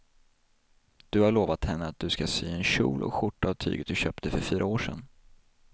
Du har lovat henne att du ska sy en kjol och skjorta av tyget du köpte för fyra år sedan.